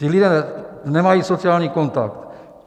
Ti lidé nemají sociální kontakt.